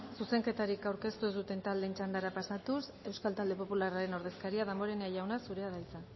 zuzenketarik aurkeztu ez duten taldeen txandara pasatuz euskal talde popularraren ordezkaria damborenea jauna zurea da hitza